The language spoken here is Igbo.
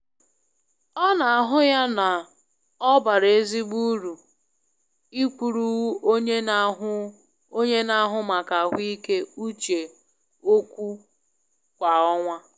Ọ na ahụ ya na obara ezigbo uru ikwuru onye na ahụ onye na ahụ maka ahụike uche okwu kwa ọnwa.